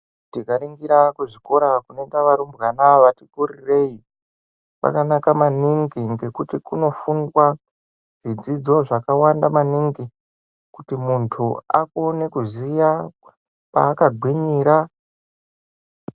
Tikaringira kuzvikora kunoenda varumbwana vati kurirei kwakanaka maningi ngekuti kunofundwa zvidzidzo zvakawanda maningi kuti muntu akone kuziya kwaakagwinyira.